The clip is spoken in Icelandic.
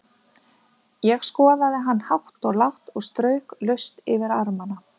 Ég skoðaði hann hátt og lágt og strauk laust yfir armana.